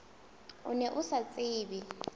o ne o sa tsebe